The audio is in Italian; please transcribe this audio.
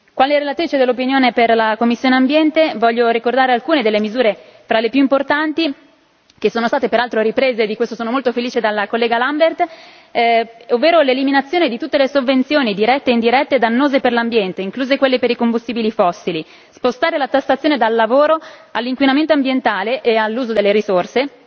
Quale relatrice per parere della commissione ambiente, voglio ricordare alcune delle misure più importanti, che sono state peraltro riprese di questo sono molto felice dalla collega Lambert, ovvero l'eliminazione di tutte le sovvenzioni, dirette e indirette, dannose per l'ambiente, incluse quelle per i combustibili fossili, lo spostamento della tassazione dal lavoro all'inquinamento ambientale e all'uso delle risorse